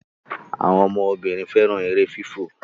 àwọn ọmọ Obìnrin féràn èrè fífọ